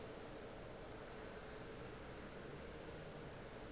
go realo o ile a